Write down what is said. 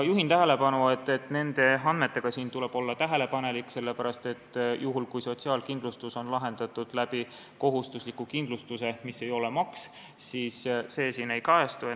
Juhin tähelepanu, et nende andmetega tuleb olla tähelepanelik, sest juhul, kui sotsiaalkindlustus on tagatud kohustusliku kindlustusega, mis ei ole maks, siis see siin ei kajastu.